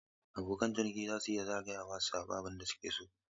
Abokan ciniki za su iya zagaya su zaɓi abin da suke so.